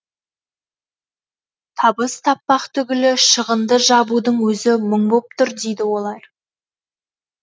табыс таппақ түгілі шығынды жабудың өзі мұң боп тұр дейді олар